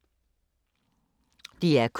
DR K